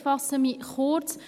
Ich fasse mich kurz.